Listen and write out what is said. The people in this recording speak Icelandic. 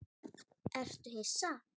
Ertu hissa?